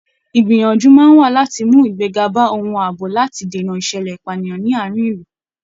Ìgbìyànjú máa wà láti mú igbega bá ohun àbò láti dènà ìṣẹ̀lẹ̀ ìpànìyàn ní àárín ilu